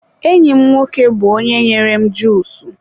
enyi m nwoke bụ onye nyere m juusu.